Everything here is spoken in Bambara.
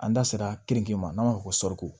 An da sera keninke ma n'an b'a fɔ ko sɔri